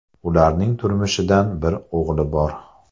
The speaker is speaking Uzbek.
Ularning turmushidan bir o‘g‘li bor.